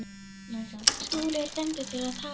Skúli er dæmdur til að tapa.